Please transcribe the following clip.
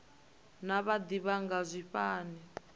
naa vha d ivha zwingafhani